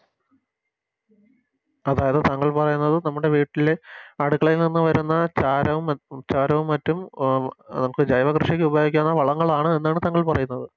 അതായത് താങ്കൾ പറയുന്നത് നമ്മുടെ വീട്ടിലെ അടുക്കളയിൽ നിന്നും വരുന്ന ചാരവും ചാരവും മറ്റും നമുക്ക് ജൈവ കൃഷിക്ക് ഉപയോഗിക്കാനുള്ള വളങ്ങളാണ് എന്നാണ് താങ്കൾ പറയുന്നത്